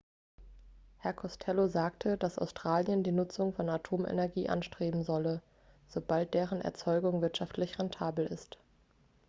herr costello sagte dass australien die nutzung von atomenergie anstreben solle sobald deren erzeugung wirtschaftlich rentabel ist